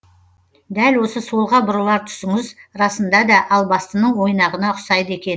дәл осы солға бұрылар тұсыңыз расында да албастының ойнағына ұқсайды екен